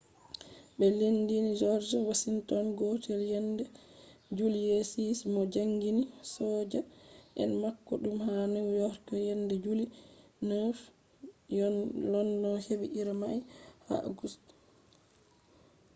be lendini george washington gotel yende july 6 mo jangini soja en mako dum ha new york yende july 9. london hebi iri mai ha august 10